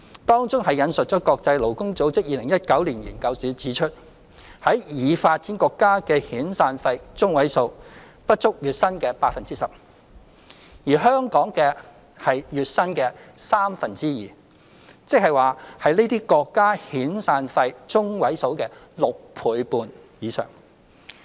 當中引述國際勞工組織2019年研究指出，在已發展國家的遣散費中位數不足月薪的 10%， 而香港則是月薪的三分之二，即是這些國家遣散費中位數的6倍半以上。